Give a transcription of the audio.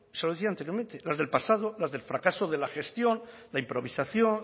se lo decía anteriormente las del pasado las del fracaso de la gestión la improvisación